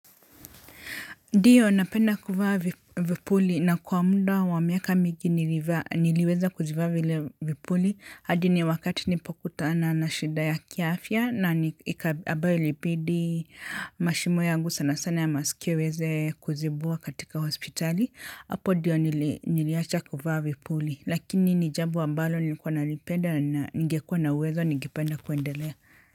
Ndiyo napenda kuvaa vipuli na kwa muda wa miaka mingi niliweza kuzivaa vile vipuli hadi ni wakati nilipokutana na shida ya kiafya na ambayo ilibidi mashimo yangu sana sana ya masikio iweze kuzibwa katika hospitali hapo ndiyo niliacha kuvaa vipuli lakini ni jambo ambalo nilikuwa nalipenda na ningekua na uwezo ningependa kuendelea.